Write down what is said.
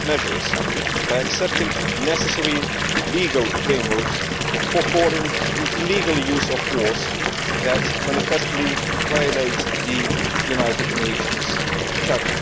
measures, by accepting necessary legal frameworks for naming the illegal use of force which manifestly violates the United Nations Charter.